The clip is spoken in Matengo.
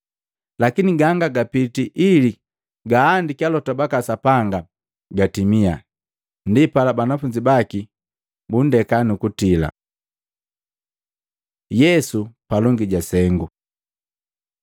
Lakini ganga gapiti ili gaandiki alota baka Sapanga gatimia.” Ndipala banafunzi baki bundeka nukutila. Yesu palongi ja sengu Maluko 14:53-65; Luka 22:54-55, 63-71; Yohana 18:13-14, 19-24